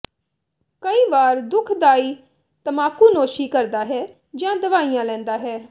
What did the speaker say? ਕਈ ਵਾਰ ਦੁਖਦਾਈ ਤਮਾਕੂਨੋਸ਼ੀ ਕਰਦਾ ਹੈ ਜਾਂ ਦਵਾਈਆਂ ਲੈਂਦਾ ਹੈ